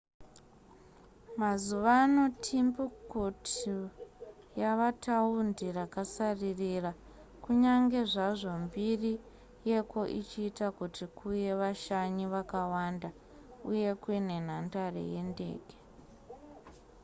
mazuva ano timbuktu yava taundi rakasaririra kunyange zvazvo mbiri yeko ichiita kuti kuuye vashanyi vakawanda uye kune nhandare yendege